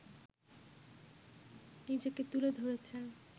নিজেকে তুলে ধরেছেন